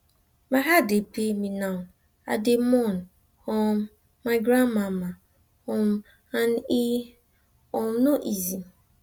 my heart dey pain me now i dey mourn um my grandmama um and e um no easy